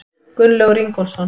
Gunnlaugur Ingólfsson.